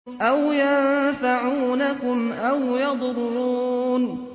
أَوْ يَنفَعُونَكُمْ أَوْ يَضُرُّونَ